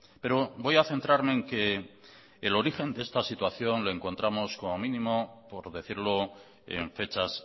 pero voy a centrarme en que el origen de esta situación lo encontramos como mínimo por decirlo en fechas